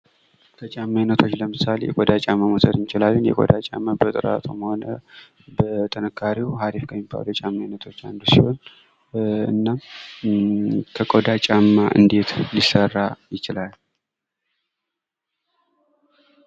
ከጫማ አይነቶች ለምሳሌ የቆዳ ጫማን መውሰድ እንችላለን ።የቆዳ ጫማ በጥራቱም ሆነ በጥንካሬው አሪፍ ከሚባሉት ውስጥ አንዱ ሲሆን ከቆዳ ጫማ እንዴት ሊሰራ ይችላል?